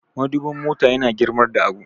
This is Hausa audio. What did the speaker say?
madubin mota yana girmar da abu